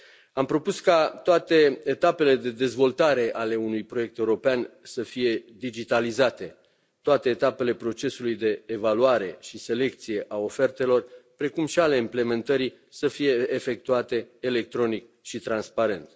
Am propus ca toate etapele de dezvoltare ale unui proiect european să fie digitalizate, toate etapele procesului de evaluare și selecție a ofertelor, precum și ale implementării, să fie efectuate electronic și transparent.